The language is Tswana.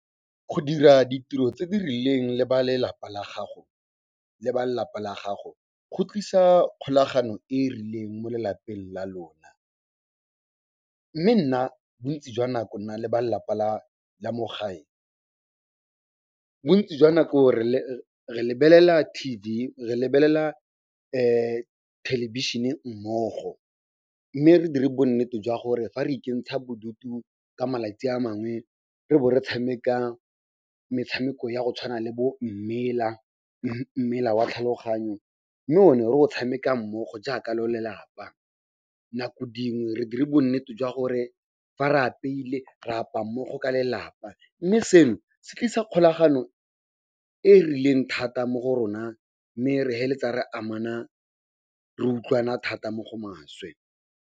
Go dira ditiro tse di rileng le ba lelapa la gago, go tlisa kgolagano e e rileng mo lelapeng la lona. Mme nna bontsi jwa nako, nna le ba lelapa la mo gae, bontsi jwa nako re lebelela T_V, re lebelela thelebišhene mmogo, mme re dire bonnete jwa gore fa re ikentsha bodutu ka malatsi a mangwe, re bo re tshameka metshameko ya go tshwana le bo mmela, mmela wa tlhaloganyo, mme one o tshameka mmogo jaaka lo lelapa. Nako dingwe re dire bonnete jwa gore fa re apeile, ra apaa mmogo ka lelapa. Mme seno se tlisa kgolagano e rileng thata mo go rona mme re re amana, re utlwana thata mo go maswe.